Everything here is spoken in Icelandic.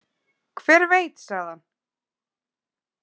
Hver veit, sagði hann.